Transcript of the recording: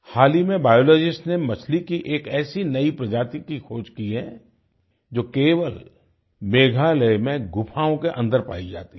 हाल ही में बायोलॉजिस्ट्स ने मछली की एक ऐसी नई प्रजाति की खोज की है जो केवल मेघालय में गुफाओं के अन्दर पाई जाती है